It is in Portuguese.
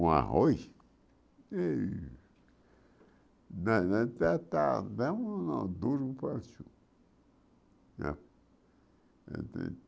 O arroz, e nós nós duro e de